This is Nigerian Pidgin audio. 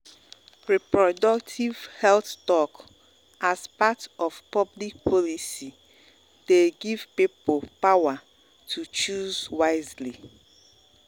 reproductive health talk as part of public policy dey give people power to people power to choose wisely.